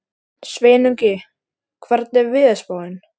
Sveinungi, hvernig er veðurspáin?